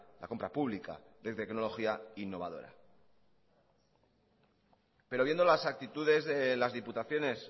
la compra pública de tecnología innovadora pero viendo las actitudes en las diputaciones